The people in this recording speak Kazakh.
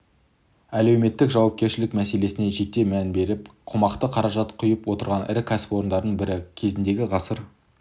әлеуметтік жауапкершілік мәселесіне жете мән беріп қомақты қаражат құйып отырған ірі кәсіпорындардың бірі кезінде ғасыр